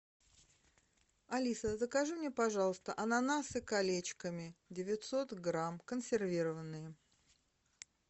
алиса закажи мне пожалуйста ананасы колечками девятьсот грамм консервированные